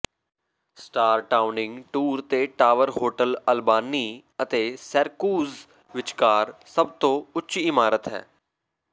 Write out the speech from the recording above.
star ਟਾਉਨਿੰਗ tour ਤੇ tower hotel Albany ਅਤੇ ਸੈਰਕੁਜ ਵਿਚਕਾਰ ਸਭ ਤੋਂ ਉੱਚੀ ਇਮਾਰਤ ਹੈ